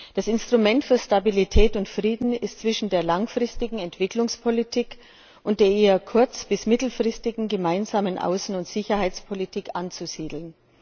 Das Instrument für Stabilität und Frieden ist zwischen der langfristigen Entwicklungspolitik und der eher kurz bis mittelfristigen gemeinsamen Außen und Sicherheitspolitik anzusiedeln.